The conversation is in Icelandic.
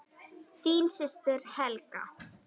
Þín systir, Helga.